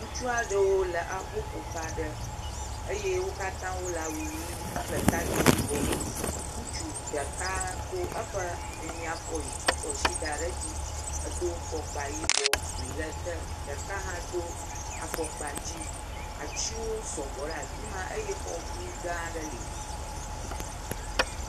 Ŋutsu aɖewo le aboƒoƒe aɖe eye wo katã wole awu ʋi kple takpui yibɔ me. Ŋutsu ɖeka ko eƒe amiafɔ yi kɔ asi da ɖe dzi. Edo fɔkpa yibɔ, ʋi le ete. Ɖeka hã do afɔkpa dzĩ. Atsiwo sɔgbɔ ɖe afi ma eye fɔʋi gã aɖe li